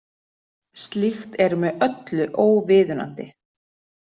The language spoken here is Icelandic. Slíkt er með öllu óviðunandi